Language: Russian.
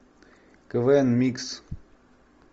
квн микс